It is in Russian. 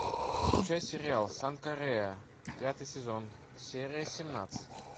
включай сериал санка рэа пятый сезон серия семнадцать